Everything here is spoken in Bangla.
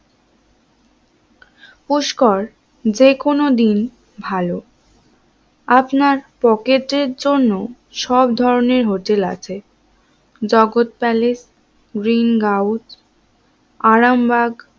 পুষ্কর যেকোনো দিন ভালো আপনার পকেটের জন্য সব ধরনের হোটেল আছে Jagat Palace, Green House, Arambagh